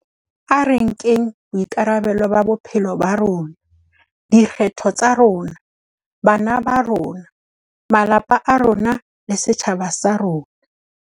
A re nkeng boikarabelo ba bophelo ba rona - dikgetho tsa rona, bana ba rona, malapa a rona le setjhaba sa rona.